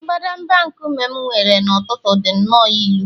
mbadamba nkume m were n’ụtụtụ dị nnọọ ilu